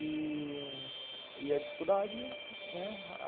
E... e a dificuldade, né.